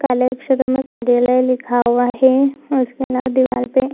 काले अक्षरों में कार्यालय लिखा हुआ है उसमे ना दीवाल पे --